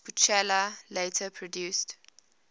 buchla later produced